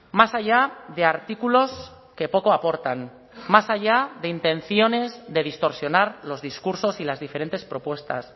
más allá de artículos que poco aportan más allá de intenciones de distorsionar los discursos y las diferentes propuestas